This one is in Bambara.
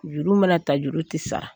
Juru mana ta juru ti sara.